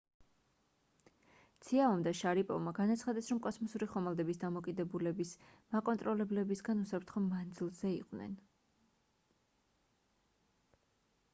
ციაომ და შარიპოვმა განაცხადეს რომ კოსმოსური ხომალდების დამოკიდებულების მაკონტროლებლებისგან უსაფრთხო მანძილზე იყვნენ